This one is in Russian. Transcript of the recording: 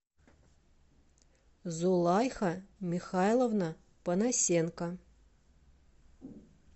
зулайха михайловна панасенко